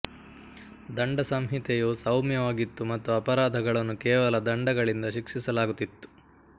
ದಂಡ ಸಂಹಿತೆಯು ಸೌಮ್ಯವಾಗಿತ್ತು ಮತ್ತು ಅಪರಾಧಗಳನ್ನು ಕೇವಲ ದಂಡಗಳಿಂದ ಶಿಕ್ಷಿಸಲಾಗುತ್ತಿತ್ತು